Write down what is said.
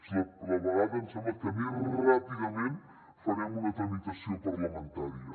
és la vegada em sembla que més ràpidament farem una tramitació parlamentària